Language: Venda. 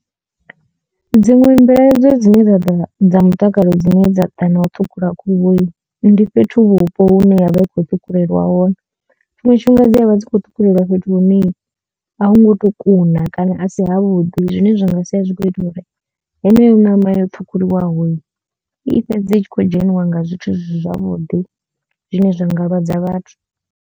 Dziṅwe mbilaelo dzine dza dza mutakalo dzine dza ḓa na u ṱhukhula khuhu ndi fhethu vhupo hune ya vha i kho ṱhukhulelwa hone, tshiṅwe tshifhinga dzi a vha dzi kho ṱhukhulelwa fhethu hune a hu ngo to kuna kana a si havhuḓi zwine zwa nga sia zwi kho ita uri heneyo ṋama yo ṱhukhuliwaho i fhedze itshi khou dzheniwa nga zwithu zwi si zwavhuḓi zwine zwa nga lwadza vhathu.